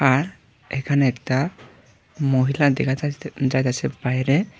আর এখানে একটা মহিলা দেখা যাইতে যাইতেছে বাইরে।